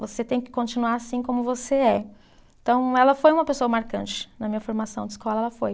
Você tem que continuar assim como você é. Então, ela foi uma pessoa marcante na minha formação de escola, ela foi.